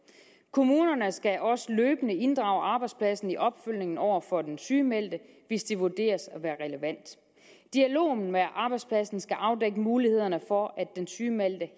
kommunerne skal også løbende inddrage arbejdspladsen i opfølgningen over for den sygemeldte hvis det vurderes at være relevant dialogen med arbejdspladsen skal afdække mulighederne for at den sygemeldte